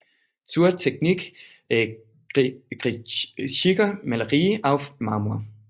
Zur Technik griechischer Malerie auf Marmor